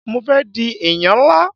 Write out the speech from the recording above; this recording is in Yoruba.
Mo fé di ènìyàn nlá